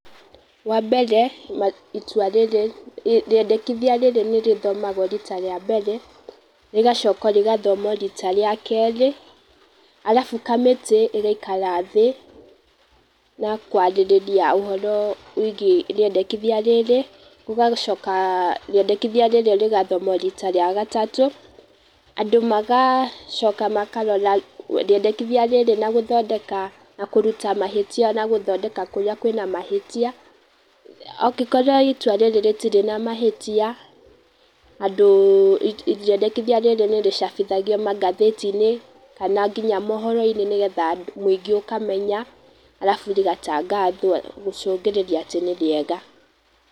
Wa mbere, itũa rĩrĩ rĩendekithia rĩrĩ nĩ rĩthomwagwo rita rĩa mbere, rĩgacoka rĩgathomwo rita rĩa kerĩ, arabu kamiti ĩgaikara thĩĩ na kwarĩriria uhoro wĩgie rĩendekithia rĩrĩ, gugacoka rĩendekithia rĩrĩ rĩgathomwo rita rĩa gatatũ. Andũ magacoka makarora rĩendekithia rĩrĩ na gũthondeka, na kũruta mahitia na gũthondeka kũrĩa kwĩna mahĩtia, angĩkorwo itua rĩrĩ rĩtire na mahĩtia, andũ rĩendekithia rĩrĩ nĩrĩcabithagio magathĩti-inĩ kana nginya mohoro-inĩ nĩgetha andũ, mũingĩ ũkamenya, arabu rĩgatagathwo gucungĩrĩria atĩ nĩ rĩega.